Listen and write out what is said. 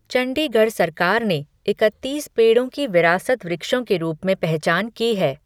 चंडीगढ़ सरकार ने इकतीस पेड़ों की विरासत वृक्षों के रूप में पहचान की है।